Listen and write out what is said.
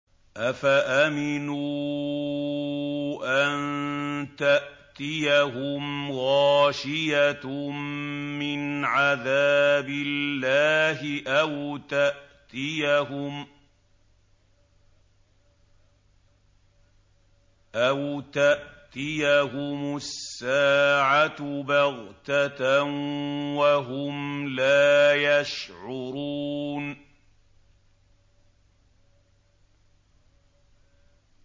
أَفَأَمِنُوا أَن تَأْتِيَهُمْ غَاشِيَةٌ مِّنْ عَذَابِ اللَّهِ أَوْ تَأْتِيَهُمُ السَّاعَةُ بَغْتَةً وَهُمْ لَا يَشْعُرُونَ